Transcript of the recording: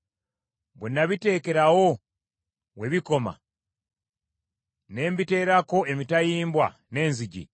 bwe n’abiteekerawo we bikoma ne mbiteerako emitayimbwa n’enzigi,